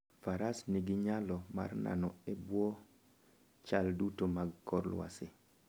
Faras nigi nyalo mar nano e bwo chal duto mag kor lwasi.